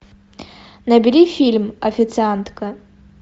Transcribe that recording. набери фильм официантка